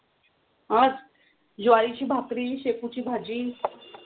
आज? ज्वारीची भाकरी, शेपूची भाजी.